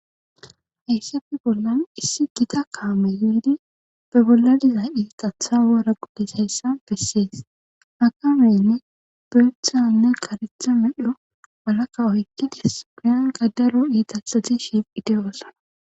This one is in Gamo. Hayssafi bollan issi gida kaame biidi be bolla diza iixatha wara guddis hayssa bessees hakamene beethanne karetha medho walakka oykki dis piyan gadaro iitasati shiifi deyoosana.